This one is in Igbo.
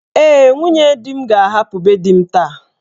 Ee, nwunye di m ga-ahapụ be di m taa.